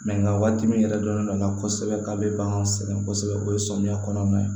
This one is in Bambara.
nka waati min yɛrɛ dɔnnen don n'a na kosɛbɛ k'a bɛ bagan sɛgɛn kosɛbɛ o ye samiya kɔnɔna ye